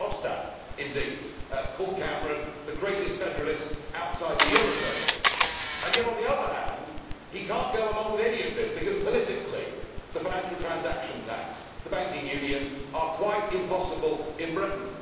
Mr Verhofstadt indeed called Mr Cameron the greatest federalist outside the euro zone. Yet, on the other hand, he cannot go along with any of this because, politically, the financial transaction tax and the banking union are quite impossible in Britain.